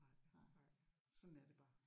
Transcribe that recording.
Nej sådan er det bare